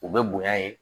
U bɛ bonya yen